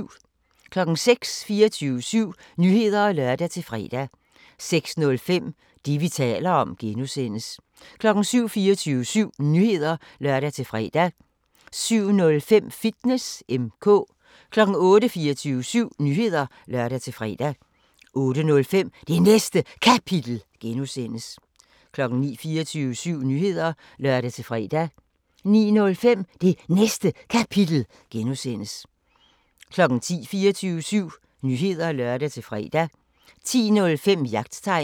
06:00: 24syv Nyheder (lør-fre) 06:05: Det, vi taler om (G) 07:00: 24syv Nyheder (lør-fre) 07:05: Fitness M/K 08:00: 24syv Nyheder (lør-fre) 08:05: Det Næste Kapitel (G) 09:00: 24syv Nyheder (lør-fre) 09:05: Det Næste Kapitel (G) 10:00: 24syv Nyheder (lør-fre) 10:05: Jagttegn